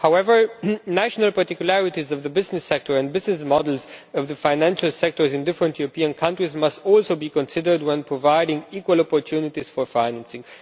However, national particularities of the business sector and business models of the financial sectors in different European countries must also be considered when providing equal opportunities for financing.